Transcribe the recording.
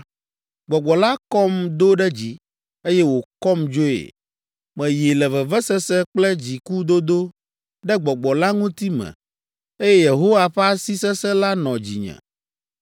Gbɔgbɔ la kɔm do ɖe dzi, eye wòkɔm dzoe. Meyi le vevesese kple dzikudodo ɖe Gbɔgbɔ la ŋuti me, eye Yehowa ƒe asi sesẽ la nɔ dzinye